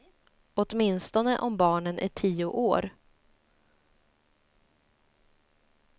Åtminstone om barnen är tio år.